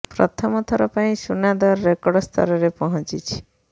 ପ୍ରଥମ ଥର ପାଇଁ ସୁନା ଦର ରେକର୍ଡ ସ୍ତରରେ ପହଞ୍ଚିଛି